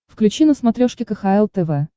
включи на смотрешке кхл тв